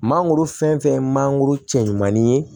Mangoro fɛn fɛn ye mangoro cɛ ɲumanin ye